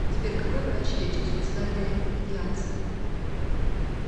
сбер какой врач лечит суицидальная идеация